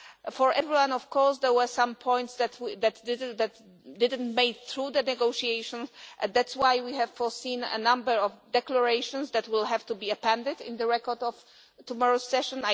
For everyone, of course, there were some points that didn't make it through the negotiations and that is why we have foreseen a number of declarations that will have to be appended in the record of tomorrow's session.